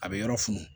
A bɛ yɔrɔ funu